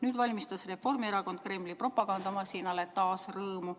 Nüüd valmistas Reformierakond Kremli propagandamasinale taas rõõmu.